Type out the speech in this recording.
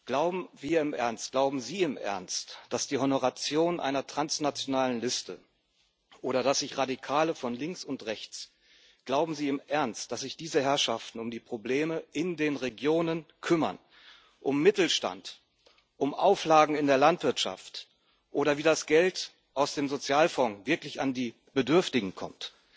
Glauben wir im Ernst, glauben Sie im Ernst, dass die Honoratioren einer transnationalen Liste oder Radikale von links und rechts, glauben Sie im Ernst, dass sich diese Herrschaften um die Probleme in den Regionen kümmern, um Mittelstand, um Auflagen in der Landwirtschaft oder darum, wie das Geld aus dem Sozialfonds wirklich an die Bedürftigen kommt?